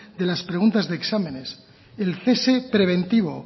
de las preguntas de exámenes el cese preventivo